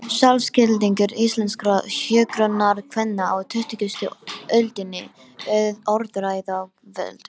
Sjálfsskilningur íslenskra hjúkrunarkvenna á tuttugustu öldinni: Orðræða og völd.